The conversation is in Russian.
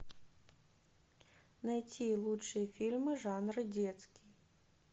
найти лучшие фильмы жанра детский